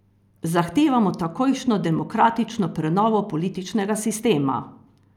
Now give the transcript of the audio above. Zahtevamo takojšnjo demokratično prenovo političnega sistema!